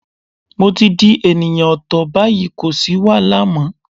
Mo ti di ènìyàn ọ̀tọ̀ báyìí, kò sì wàhálà mọ́.